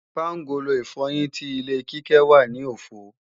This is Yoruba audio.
Pángolo ìfọyín ti ilé Kíkẹ́ wà ní òfo